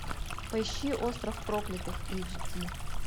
поищи остров проклятых эйч ди